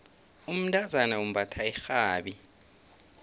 umntazana umbatha irhabi